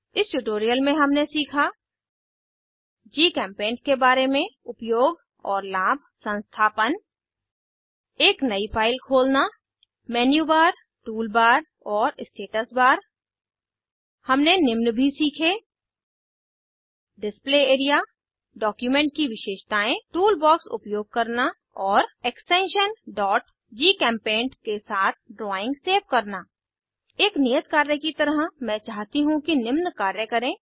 इस ट्यूटोरियल में हमने सीखा जीचेम्पेंट के बारे में उपयोग और लाभ संस्थापन एक नयी फाइल खोलना मेन्यूबार टूलबार और स्टेटस बार हमने निम्न भी सीखे डिस्प्ले एरिया डॉक्यूमेंट की विशेषतायें टूल बॉक्स उपयोग करना और एक्सटेंशन gchempaint के साथ ड्राइंग सेव करना एक नियत कार्य की तरह मैं चाहती हूँ कि निम्न कार्य करें 1